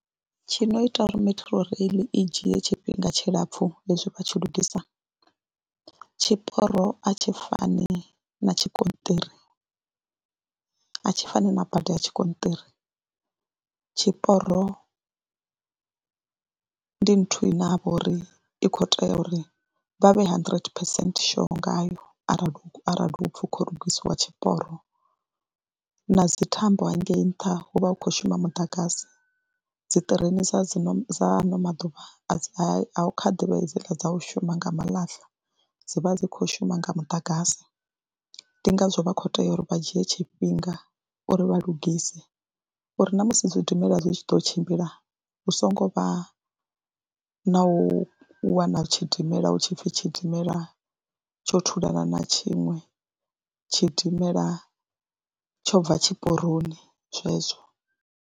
Tshi no ita uri Metrorail i dzhie tshifhinga tshilapfhu hezwi vha tshi lugisa tshiporo a tshi fani na tshigonṱiri a tshi fani na bada ya tshigonṱiri, tshiporo ndi nthu ine ha vha uri i khou tea uri vha vhe hundred percent sure ngayo arali arali hu pfhi hu khou lugisiwa tshiporo na dzi thambo hangei nṱha hu vha hu khou shuma muḓagasi. Dzi ṱireni dza dzi no dza ano maḓuvha a hu kha ḓivha hedziḽa dza u shuma nga malasha dzi vha dzi khou shuma nga muḓagasi, ndi ngazwo vha khou tea uri vha dzhie tshifhinga uri vha lungise uri na musi zwidimela zwi tshi ḓo tshimbila hu songo vha na u wana tshidimela hu tshi pfhi tshidimela tsho thulana na tshiṅwe, tshidimela tsho bva tshiporoni zwezwo.